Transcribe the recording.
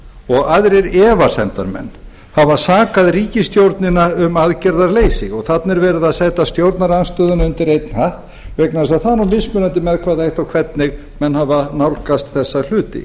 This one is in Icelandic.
og aðrir efasemdarmenn hafa sakað ríkisstjórnina um aðgerðaleysi þarna er eru að setja stjórnarandstöðuna undir einn hatt vegna þess að það er nú mismunandi með hvaða hætti og hvernig menn hafa nálgast þessa hluti